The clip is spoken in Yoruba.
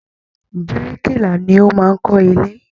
Birikila ni ó máa ń kó ilé.